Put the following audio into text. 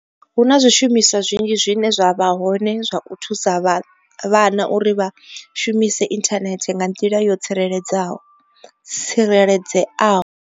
Hu na zwishumiswa zwinzhi zwine zwa vha hone zwa u thusa vhana uri vha shumise inthanethe nga nḓila yo tsireledzeaho.